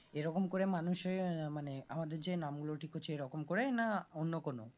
এরকম করে মানুষের মানে আমাদের যে নাম গুলো ঠিক হচ্ছে এইরকম করে না অন্য কোনো